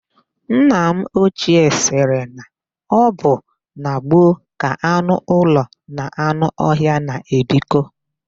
Nna m ochie sịrị na ọ bụ na gboo ka anụ ụlọ na anụ ọhịa na-ebikọ.